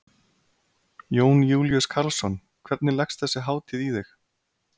Jón Júlíus Karlsson: Hvernig leggst þessi hátíð í þig?